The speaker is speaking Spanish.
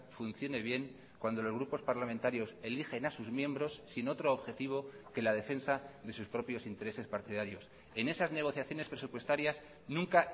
funcione bien cuando los grupos parlamentarios eligen a sus miembros sin otro objetivo que la defensa de sus propios intereses partidarios en esas negociaciones presupuestarias nunca